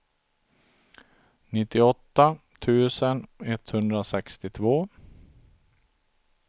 nittioåtta tusen etthundrasextiotvå